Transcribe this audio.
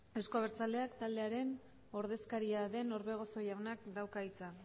euzko abertzaleak taldearen ordezkaria den orbegozo jaunak dauka hitza